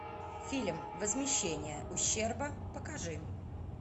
фильм возмещение ущерба покажи